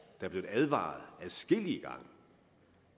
er blevet advaret adskillige gange